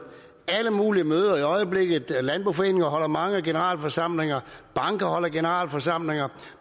alle mulige møder i øjeblikket landboforeningerne holder mange generalforsamlinger og bankerne holder generalforsamlinger